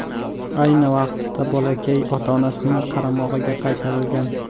Ayni vaqtda bolakay ota-onasining qaramog‘iga qaytarilgan.